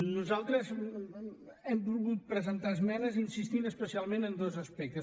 nosaltres hem volgut presentar esmenes insistint especialment en dos aspectes